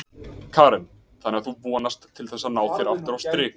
Karen: Þannig að þú vonast til þess að ná þér aftur á strik?